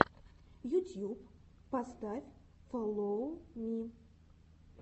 ютьюб поставь фоллоу ми